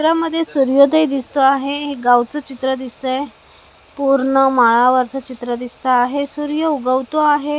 यामध्ये सूर्योदय दिसतो आहे हे गावच चित्र दिसतंय पूर्ण माळावरच चित्र दिसत आहे सूर्य उगवतो आहे.